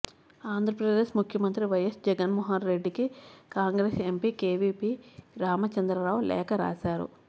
ఆంధ్రప్రదేశ్ ముఖ్యమంత్రి వైఎస్ జగన్మోహన్రెడ్డికి Congress MP KVP Ramachandra Rao లేఖ రాశారు